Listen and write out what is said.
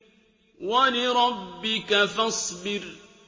وَلِرَبِّكَ فَاصْبِرْ